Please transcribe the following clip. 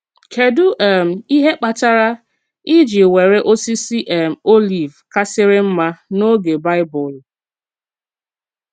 Kédù um íhè kpàtàrà e jì nwèrè òsìsì um òlív kàsìrì mmà n’ógè Baịbụl?